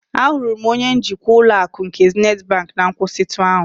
Ahụrụ m onye njikwa ụlọ akụ nke Zenịt bank na nkwụsịtụ ahụ.